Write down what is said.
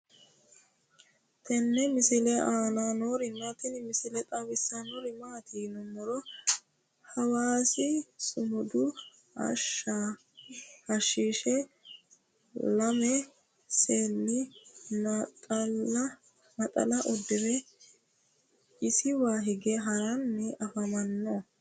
tenne misile aana noorina tini misile xawissannori maati yinummoro hawassa sumudu hashsha lame seenni naxxalla uddire isiwa hige haranni afammanno